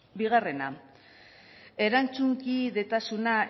bigarrena erantzunkidetasuna